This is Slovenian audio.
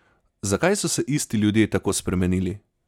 Zakaj so se isti ljudje tako spremenili?